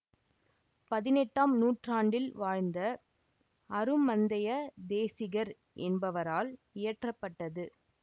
பதினெட்டாம் நூற்றாண்டில் வாழ்ந்த அருமந்தைய தேசிகர் என்பவரால் இயற்ற பட்டது